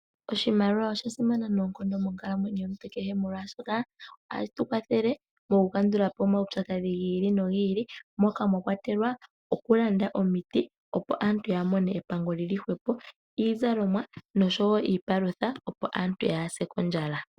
Oshimaliwa osha simana noonkondo monkalamwenyo yomuntu kehe molwaashoka ohayi vulu okukandulapo omaupyakadhi giili nogiili. Moka mwakwatelwa okulanda omiti opo aantu yamone epango lili hwepo , iizalomwa noshowoo iipalutha opo aantu yaase kondjala.